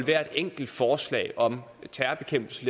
hvert enkelt forslag om terrorbekæmpelse